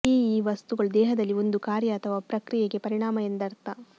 ಈ ಈ ವಸ್ತುಗಳು ದೇಹದಲ್ಲಿ ಒಂದು ಕಾರ್ಯ ಅಥವಾ ಪ್ರಕ್ರಿಯೆಗೆ ಪರಿಣಾಮ ಎಂದರ್ಥ